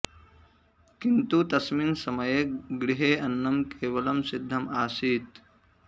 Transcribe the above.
किन्तु तस्मिन् समये गृहे अन्नं केवलं सिद्धम् आसीत्